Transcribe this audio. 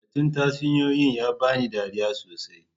Batun tatsuniyoyi ya ba ni dariya sosai.